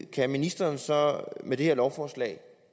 kan ministeren så med det her lovforslag